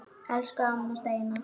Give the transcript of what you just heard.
Elsku amma Steina.